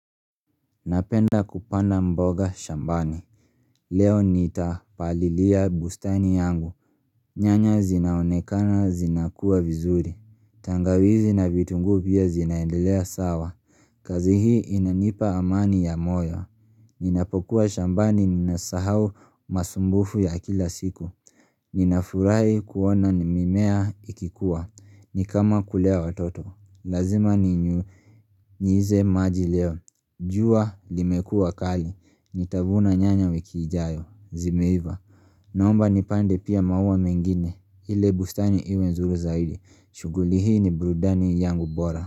Napenda kupanda mboga shambani Leo nitapalilia bustani yangu nyanya zinaonekana zinakua vizuri tangawizi na vitunguu pia zinaendelea sawa kazi hii inanipa amani ya moyo Ninapokuwa shambani ninasahau masumbufu ya kila siku ninafurahi kuona mimea ikikua. Ni kama kulea watoto, lazima ninyunyize maji leo jua limekua kali, nitavuna nyanya wiki ijayo, zimeiva. Naomba nipande pia maua mengine, ili bustani iwe nzuri zaidi, shughuli hii ni burudani yangu bora.